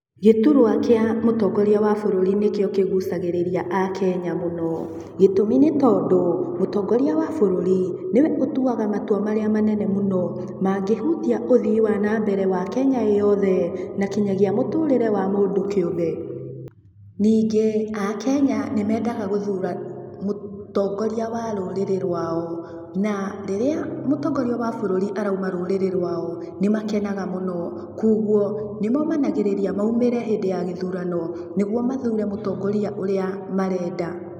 Gĩturwa kĩa mũtongoria wa bũrũri nĩkĩo kĩgucagĩrĩria akenya mũno, gĩtũmi nĩ tondũ, mũtongoria wa bũrũri, nĩwe ũtuaga matua marĩa menene mũno mangĩhutia ũthii wa na mbere wa Kenya ĩ yothe, na kinyagia mũtũrĩre wa mũndũ kĩũmbe, ningĩ akenya nĩ mendaga gũthura mũtongoria wa rũrĩrĩ rwao, na rĩrĩa mũtongoria wa bũrũri arauma rũrĩrĩ rwao nĩ makenaga mũno, koguo, nĩ momanagĩrĩria maumĩre hĩndĩ ya gĩthurano, nĩguo mathure mũtongoria ũrĩa marenda.